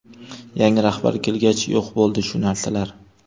Yangi rahbar kelgach, yo‘q bo‘ldi shu narsalar.